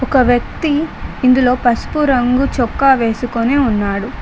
ఒక వ్యక్తి ఇందులో పసుపు రంగు చొక్కా వేసుకొని ఉన్నాడు.